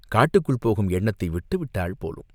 காட்டுக்குள் போகும் எண்ணத்தை விட்டு விட்டாள் போலும்!